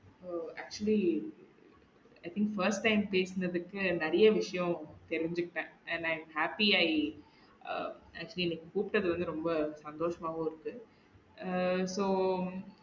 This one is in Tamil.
O actually i think first time பேசுனதுக்கு நிறைய விஷயம் தெரிஞ்சுகிட்டேன் and i happy i ஆஹ் actually கூப்ட்டது வந்து ரொம்ப சந்தோசமா தா இருக்கு ஆஹ் so